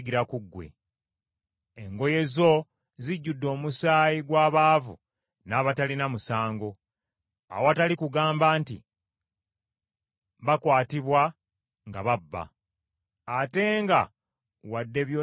Engoye zo zijjudde omusaayi gw’abaavu n’abatalina musango, awatali kugamba nti bakwatibwa nga babba. Ate nga wadde byonna biri bwe bityo